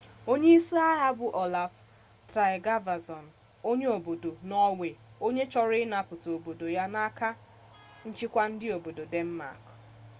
onye isi agha a bụ olaf trygvasson onye obodo nọọwe onye chọrọ ịnapụta obodo ya n'aka nchịkwa ndị obodo denmak